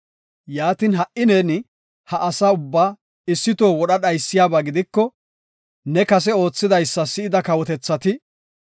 Yaatin, ha77i neeni ha asa ubbaa issi toho wodha dhaysiyaba gidiko ne kase oothidaysa si7ida kawotethati,